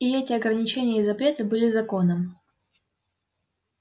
и эти ограничения и запреты были законом